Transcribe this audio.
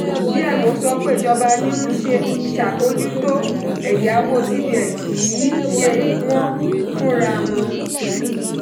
dmo sọ pé ìjọba ni ń ṣàbójútó ẹ̀yàwó cbn kì í ṣe wọ́n fúnra wọn.